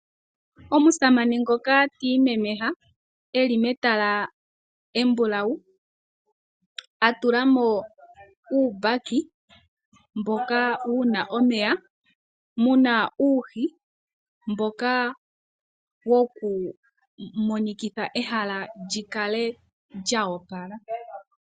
Omusamane ngoka ti imemeha e li metala embulawu, a tula mo uumbaki mboka wu na omeya mu na uuhi mboka wokumonikitha ehala li kale lyoopala.